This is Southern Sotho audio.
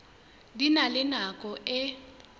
di na le nako e